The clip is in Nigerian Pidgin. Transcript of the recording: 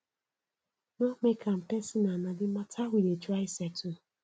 no make am personal na di mata we dey try settle